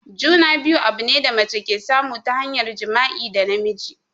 Juna-biyu abune da mace ke samu ta hanyar jima'i da namiji.